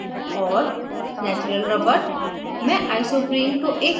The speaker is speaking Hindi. vitamin a और natural rubber